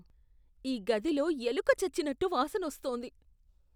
ఈ గదిలో ఎలుక చచ్చినట్టు వాసన వస్తోంది.